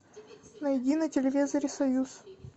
найди на телевизоре союз